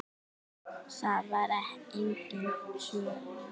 Það var engin svörun.